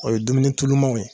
O ye dumuni tulumaw ye.